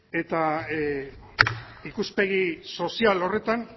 eta ikuspegi sozial horretan